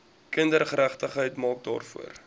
kindergeregtigheid maak daarvoor